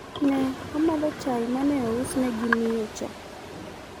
ne omadho chaye mane ousne gi miyo cha